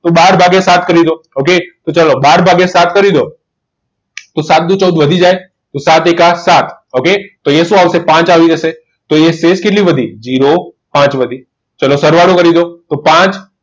તો બાર ભાગ્યા સાત કરી દો okay તો ચાલો બાર ભાગીયા સાત કરી દો તો સાત દુ ચૌદ વધી જાય તોસાત એકૂ સાત okay અહીંયા શું આવશે પાંચ આવી જશે તો અહીં શેષ કેટલી વધી zero પાચ હતી ચલો સરવાળો કરી દો તો પાંચ